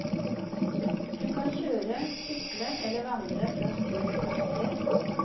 Du kan kjøre, sykle eller vandre fra sted til sted.